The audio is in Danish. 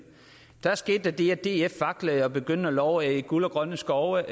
da skete der det at df vaklede og begyndte at love guld og grønne skove